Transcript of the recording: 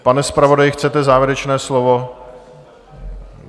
Pane zpravodaji, chcete závěrečné slovo?